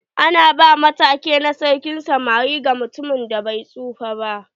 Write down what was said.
Ana ba ma take na sarkin samari ga mutumin da bai tsufa ba.